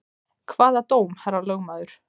Hvaða dóm, herra lögmaður?